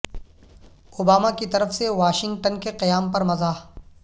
Obama کی طرف سے واشنگٹن کے قیام پر مزاح